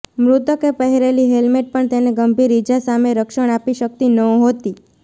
મૃતકે પહેરેલી હેલ્મેટ પણ તેને ગંભીર ઇજા સામે રક્ષણ આપી શકી નહોતી